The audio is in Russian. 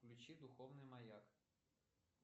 включи духовный маяк